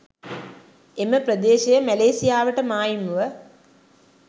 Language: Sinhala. එම ප්‍රදේශය මැලේසියාවට මායිම්ව